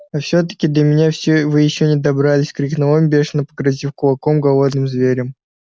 а все таки до меня вы ещё не добрались крикнул он бешено погрозив кулаком голодным зверям